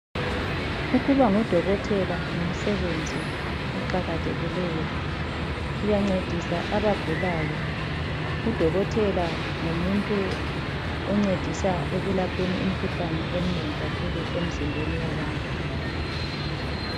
Ukuba ngudokotela ngumsebenzi oqakathekileyo. Uyancedisa abagulayo. Udokotela ngumuntu oncedisa ekulapheni imikhuhlane eminengi kakhulu emzimbeni yabantu.